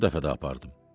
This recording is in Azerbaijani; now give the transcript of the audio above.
Bu dəfə də apardım.